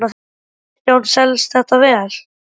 Kristján: Selst þetta vel?